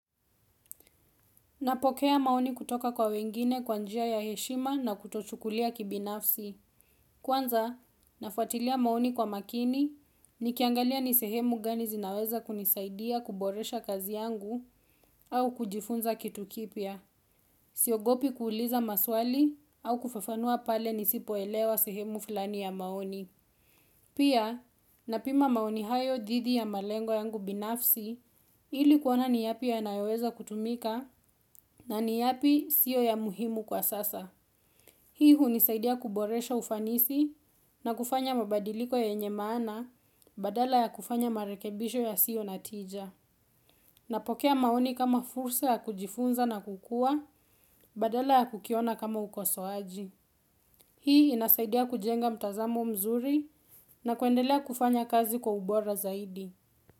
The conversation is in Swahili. Napokea maoni kutoka kwa wengine kwanjia ya heshima na kutochukulia kibinafsi. Kwanza, nafuatilia maoni kwa makini, nikiangalia nisehemu gani zinaweza kunisaidia kuboresha kazi yangu au kujifunza kitu kipya. Siogopi kuuliza maswali au kufafanua pale nisipoelewa sehemu fulani ya maoni. Pia, napima maoni hayo dhidi ya malengo yangu binafsi ili kuona ni yapi yanayoweza kutumika na ni yapi siyo ya muhimu kwa sasa. Hii hunisaidia kuboresha ufanisi na kufanya mabadiliko yenye maana badala ya kufanya marekebisho ya sio natija. Napokea maoni kama fursa ya kujifunza na kukua badala ya kukiona kama ukosoaji. Hii inasaidia kujenga mtazamo mzuri na kuendelea kufanya kazi kwa ubora zaidi.